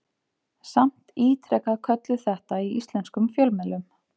Samt ítrekað kölluð þetta í íslenskum fjölmiðlum.